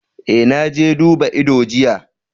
Eh, na je duba ido jiya.